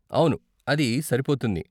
అవును, అది సరిపోతుంది.